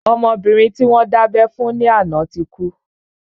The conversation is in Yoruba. Ọmọbìnrin tí wọ́n dábẹ́ fún ní àná náà ti kú